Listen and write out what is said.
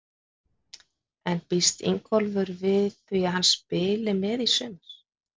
En býst Ingólfur við því að hann spili með í sumar?